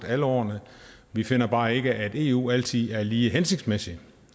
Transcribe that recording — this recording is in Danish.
alle årene vi finder bare ikke at eu altid er lige hensigtsmæssigt